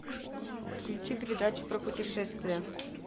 включи передачу про путешествия